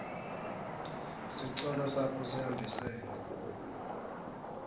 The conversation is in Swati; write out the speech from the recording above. sicelo sakho sihambisene